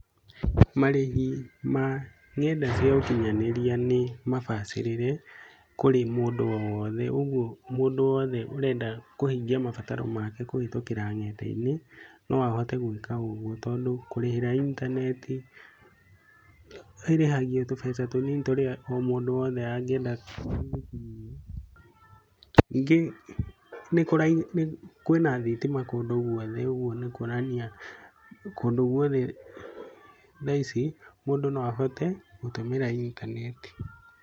Marĩhi ma nenda cĩa ũkinyanĩria nĩ mabacĩrire kũrĩ mũndũ oo wothe. Ũguo mũndũ wothe ũrenda kũhĩngia mabataro make kũhitukira ngenda-ĩnĩ na ahote gũika ogwo tondu kũrĩhira intanetĩ, ĩrĩhagio tũbeca tunĩni tũrĩa mũndũ wothe angĩenda nĩngĩ kwĩna thitima kũndũ gwothe ũguo nĩ kwonanĩa kũndũ gũothe thaĩci mũndũ no ahote gũtũmĩra intanetĩ.